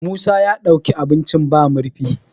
musa ya ɗauki abinci ba murfi